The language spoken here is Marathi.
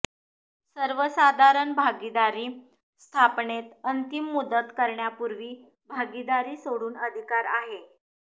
सर्वसाधारण भागीदारी स्थापनेत अंतिम मुदत करण्यापूर्वी भागीदारी सोडून अधिकार आहे